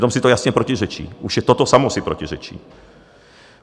Přitom si to jasně protiřečí, už i toto samo si protiřečí.